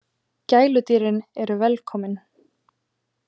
Gæludýrin eru velkomin